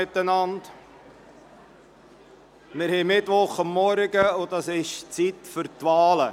Wir haben Mittwochmorgen, und das ist die Zeit für die Wahlen.